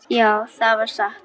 Já, það var satt.